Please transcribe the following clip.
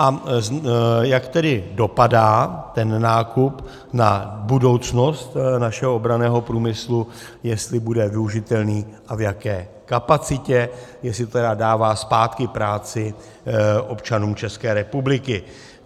A jak tedy dopadá ten nákup na budoucnost našeho obranného průmyslu, jestli bude využitelný a v jaké kapacitě, jestli tedy dává zpátky práci občanům České republiky.